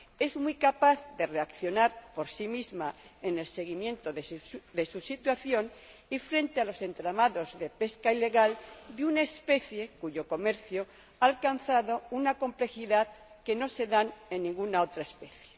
es muy capaz de reaccionar por sí misma en el seguimiento de su situación y frente a los entramados de pesca ilegal de una especie cuyo comercio ha alcanzado una complejidad que no se da en ninguna otra especie.